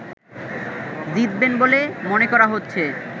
জিতবেন বলে মনে করা হচ্ছে